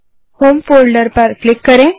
home folder पर click करें